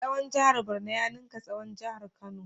Tsawon jihar Borno ya ninka tsawon jihar Kano.